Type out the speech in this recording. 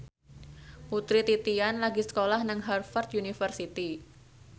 Putri Titian lagi sekolah nang Harvard university